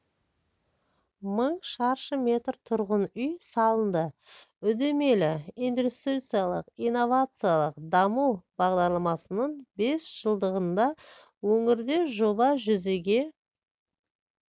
мың шаршы метр тұрғын үй салынды үдемелі индустриаялық-инновациялық даму бағдарламасының бес жылдығында өңірде жоба жүзеге